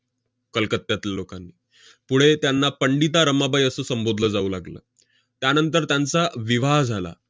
कलकत्त्यातल्या लोकांनी. पुढे त्यांना पंडिता रमाबाई असं संबोधलं जाऊ लागलं. त्यानंतर त्यांचा विवाह झाला.